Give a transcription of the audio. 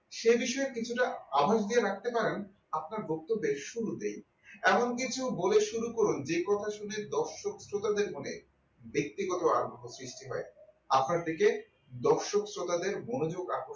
সে বিষয়ে কিছুটা আমড় দিয়ে রাখতে পারেন আপনার বক্তব্যের শুরুতেই এমন কিছু বলে শুরু করুন যে কথা শুনে দর্শক শ্রোতাদের মনে ব্যক্তিগত আগ্রহ সৃষ্টি হয় আপনার দিকে দর্শক শ্রোতাদের মনোযোগ আকর্ষিত